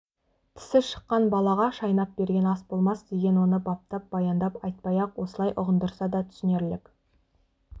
тісі шыққан балаға шайнап берген ас болмас деген оны баптап баяндап айтпай-ақ осылай ұғындырса да түсінерлік